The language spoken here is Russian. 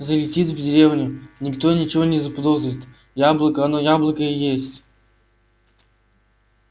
залетит в деревню никто ничего не заподозрит яблоко оно яблоко и есть